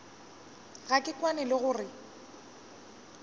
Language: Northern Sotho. ga ke kwane le gore